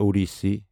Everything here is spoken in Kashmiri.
اوڈیسی